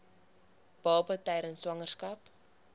baba tydens swangerskap